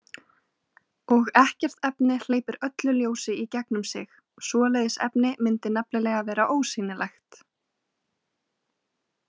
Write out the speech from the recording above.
Og ekkert efni hleypir öllu ljósi í gegnum sig, svoleiðis efni mundi nefnilega vera ósýnilegt.